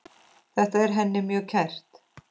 Þetta er henni mjög kært.